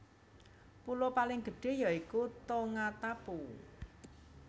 Pulo paling gedhé ya iku Tongatapu